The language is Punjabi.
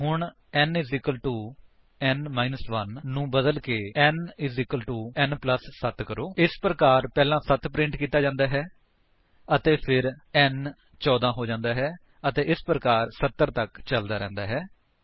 ਹੁਣ n n 1 ਨੂੰ ਬਦਲਕੇ n n 7 ਕਰੋ ਇਸ ਪ੍ਰਕਾਰ ਪਹਿਲਾਂ 7 ਪ੍ਰਿੰਟ ਕੀਤਾ ਜਾਂਦਾ ਹੈ ਅਤੇ ਫਿਰ n 14 ਹੋ ਜਾਂਦਾ ਹੈ ਅਤੇ ਇਸ ਪ੍ਰਕਾਰ 70 ਤੱਕ ਚੱਲਦਾ ਰਹਿੰਦਾ ਹੈ